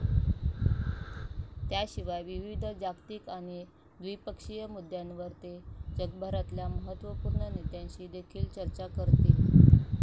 त्याशिवाय, विविध जागतिक आणि द्विपक्षीय मुद्द्यांवर ते जगभरातल्या महत्वपूर्ण नेत्यांशी देखील चर्चा करतील